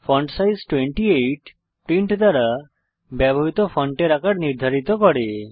font size 28 print দ্বারা ব্যবহৃত ফন্টের আকার নির্ধারিত করে